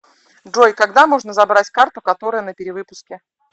джой когда можно забрать карту которая на перевыпуске